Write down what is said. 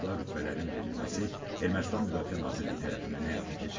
Orduda rütbələrin verilməsi Ermənistan Müdafiə Nazirliyi tərəfindən həyata keçirilib.